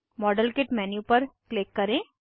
model kit menu पर click करें